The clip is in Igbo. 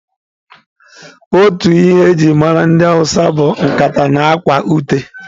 Otu ihe e ji mara ndị hausa bụ nkata na akwa ute.